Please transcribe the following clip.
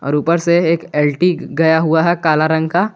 और ऊपर से एक एल_टी गया हुआ है काला रंग का।